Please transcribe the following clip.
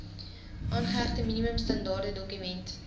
aangehegte minimum standaardedokument